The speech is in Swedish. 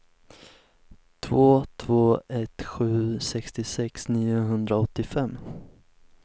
två två ett sju sextiosex niohundraåttiofem